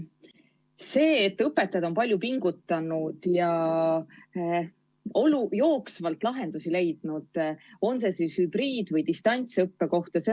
On selge, et õpetajad on palju pingutanud ja jooksvalt lahendusi leidnud, olgu hübriid- või distantsõppe kohta.